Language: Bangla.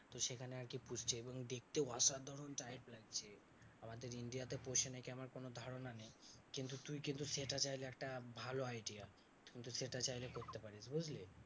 তো সেখানে আরকি পুষছে এবং দেখতেও অসাধারণ type লাগছে। আমাদের India তে পোষে নাকি আমার কোনো ধারণা নেই। কিন্তু তুই কিন্তু সেটা চাইলে একটা ভালো idea. কিন্তু সেটা চাইলে করতে পারিস বুঝলি?